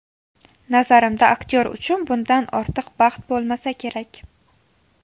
Nazarimda, aktyor uchun bundan ortiq baxt bo‘lmasa kerak.